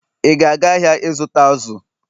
ị ga-aga ahịa ịzụta azụ̀?